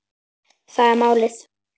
Það er málið.